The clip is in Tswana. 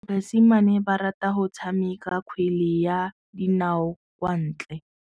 Basimane ba rata go tshameka kgwele ya dinaô kwa ntle.